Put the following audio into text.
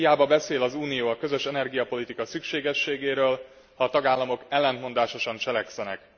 Hiába beszél az Unió a közös energiapolitika szükségességéről, ha a tagállamok ellentmondásosan cselekszenek.